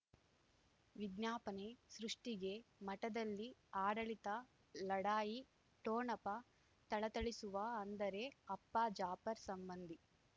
ವಿಜ್ಞಾಪನೆ ಸೃಷ್ಟಿಗೆ ಮಠದಲ್ಲಿ ಆಡಳಿತ ಲಢಾಯಿ ಠೋಣಪ ಥಳಥಳಿಸುವ ಅಂದರೆ ಅಪ್ಪ ಜಾಫರ್ ಸಂಬಂಧಿ